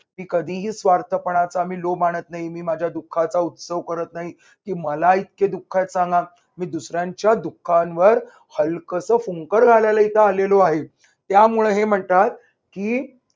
मी कधीही स्वार्थ पणाचा मी लोभ आणत नाही. मी माझ्या दुःखाचा उत्सव करत नाही की मला इतके दुःख आहेत चालत. मी दुसऱ्यांच्या दुःखांवर हलकस फुंकर घालायला इथे आलेलो आहे, त्यामुळे हे म्हणतात की